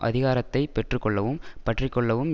அதிகாரத்தை பெற்று கொள்ளவும் பற்றிக்கொள்ளவும்